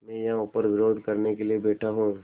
मैं यहाँ ऊपर विरोध करने के लिए बैठा हूँ